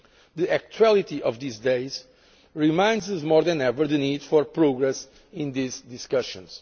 The actuality of these days reminds us more than ever of the need for progress in these discussions.